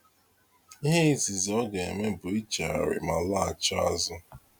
Ihe izizi ọ ga- eme bụ iche gharị ma laghachi azụ.